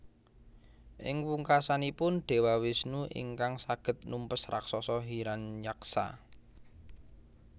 Ing pungkasanipun Dewa Wisnu ingkang saged numpes raksasa Hiranyaksa